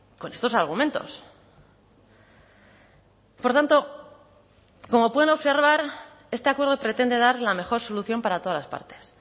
con estos argumentos por tanto como pueden observar este acuerdo pretende dar la mejor solución para todas las partes